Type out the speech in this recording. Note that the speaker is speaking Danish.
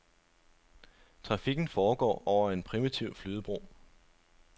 Trafikken foregår over en primitiv flydebro.